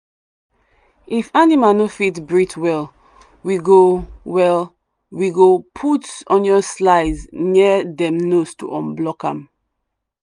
if animal no fit breathe well we go well we go put onion slice near dem nose to unblock am.